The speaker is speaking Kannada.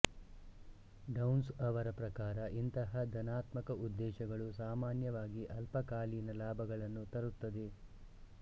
ಡೌನ್ಸ್ ಅವರ ಪ್ರಕಾರ ಇಂತಹ ಧನಾತ್ಮಕ ಉದ್ದೇಶಗಳು ಸಾಮಾನ್ಯವಾಗಿ ಅಲ್ಪಕಾಲೀನ ಲಾಭಗಳನ್ನು ತರುತ್ತದೆ